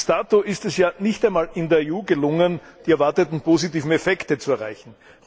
Bis dato ist es ja nicht einmal in der EU gelungen, die erwarteten positiven Effekte zu erreichen.